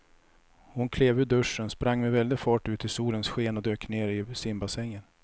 Hon klev ur duschen, sprang med väldig fart ut i solens sken och dök ner i simbassängen.